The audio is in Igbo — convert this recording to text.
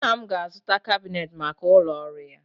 Nna m ga-azụta kabinetị maka ụlọ ọrụ ya